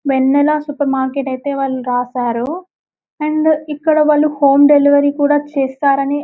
వెన్నెల super market ఐతే వాళ్ళు రాసారు అండ్ ఇక్కడ వాళ్ళు హోమ్ డెలివరీ కూడా చేస్తారని --